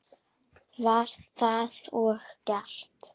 Var það og gert.